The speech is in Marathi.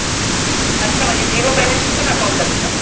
अच्छा म्हणजे zero balance च पण account असत?